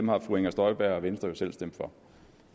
har fru inger støjberg og venstre jo selv stemt for